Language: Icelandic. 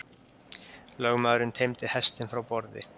Lögmaðurinn teymdi hestinn frá borði.